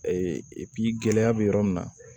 gɛlɛya bɛ yɔrɔ min na